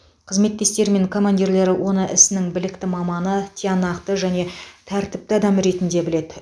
қызметтестері мен командирлері оны ісінің білікті маманы тиянақты және тәртіпті адам ретінде біледі